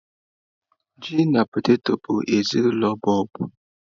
Ji na potetọ bụ ezinụlọ bọlbụ.